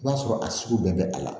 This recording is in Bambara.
I b'a sɔrɔ a sugu bɛɛ bɛ a la